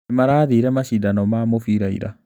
Nĩmarathire macindano ma mũbira ira.